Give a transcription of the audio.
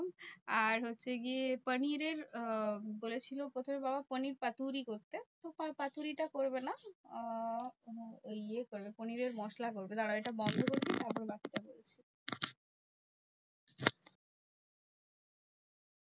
আর হচ্ছে গিয়ে পানিরের আহ বলেছিলো প্রথমে বাবা পানির পাতুরি করতে। cook আর পাতুড়িটা করবে না। আহ কোনো ইয়ে করবে পনিরের মশলা করবে। দাঁড়াও এটা বন্ধ করে দিই তারপর বাকিটা বলছি।